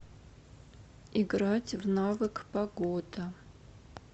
играть в навык погода